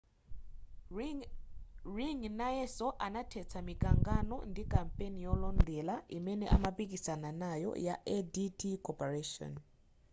ring nayeso anathetsa mikangano ndi kampani yolondera imene amapikisana nayo ya adt corporation